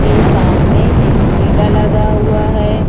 के सामने एक ठेला लगा हुआ हैं।